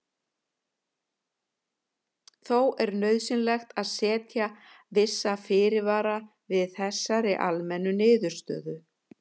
Þó er nauðsynlegt að setja vissa fyrirvara við þessari almennu niðurstöðu.